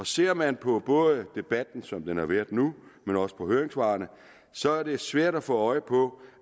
ser man på både debatten som den har været nu men også på høringssvarene så er det svært at få øje på